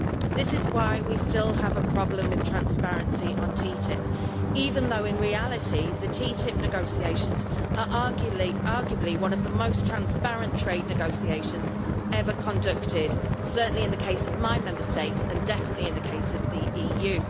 This is why we still have a problem with transparency on TTIP, even though in reality the TTIP negotiations are arguably among the most transparent trade negotiations ever conducted, certainly in the case of my Member State and definitely in the case of the EU.